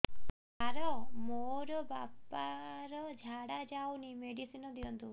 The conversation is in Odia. ସାର ମୋର ବାପା ର ଝାଡା ଯାଉନି ମେଡିସିନ ଦିଅନ୍ତୁ